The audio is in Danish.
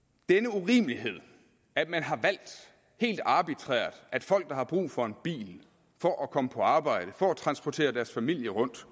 denne urimelighed at man har valgt helt arbitrært at folk der har brug for en bil for at komme på arbejde for at transportere deres familie rundt